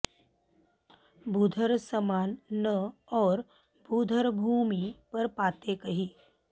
भूधर समान न और भूधर भूमि पर पाते कहीं